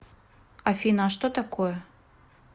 афина а что такое